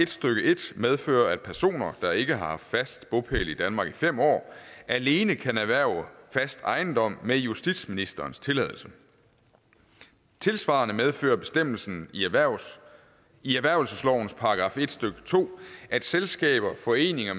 medfører at personer der ikke har haft fast bopæl i danmark i fem år alene kan erhverve fast ejendom med justitsministerens tilladelse tilsvarende medfører bestemmelsen i erhvervelseslovens § en stykke to at selskaber foreninger